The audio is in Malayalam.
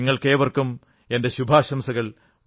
നിങ്ങൾക്കേവർക്കും എന്റെ ശുഭാശംസകൾ